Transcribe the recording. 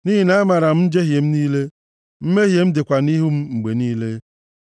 Nʼihi na amaara m njehie m niile, mmehie m dịkwa nʼihu m mgbe niile.